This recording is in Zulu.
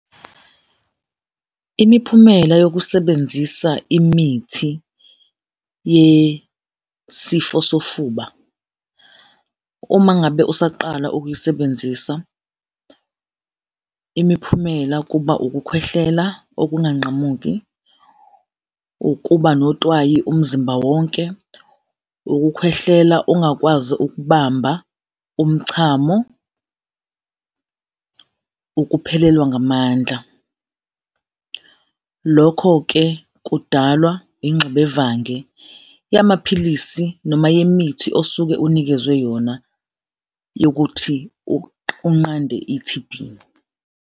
Imiphumela yokusebenzisa imithi yesifo sofuba, uma ngabe usaqala ukuyisebenzisa, imiphumela kuba ukukhwehlela okunganqamuki, ukuba notwayi umzimba wonke, ukukhwehlela ungakwazi ukubamba umchamo, ukuphelelwa ngamandla. Lokho-ke kudalwa ingxubevange yamaphilisi noma yemithi osuke unikezwe yona yokuthi unqande i-T_B.